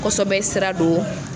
kosɛbɛ sira do.